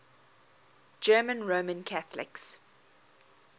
german roman catholics